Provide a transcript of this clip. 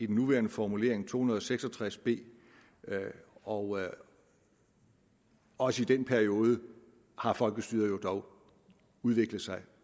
den nuværende formulering to hundrede og seks og tres b og også i den periode har folkestyret jo dog udviklet sig